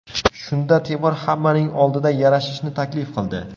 Shunda Temur hammaning oldida yarashishni taklif qildi.